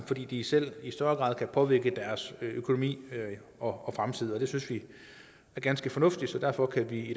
fordi de selv i større grad kan påvirke deres økonomi og fremtid og det synes vi er ganske fornuftigt derfor kan vi i